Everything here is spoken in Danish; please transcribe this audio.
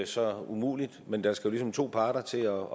så umuligt men der skal jo ligesom to parter til at